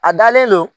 A dalen don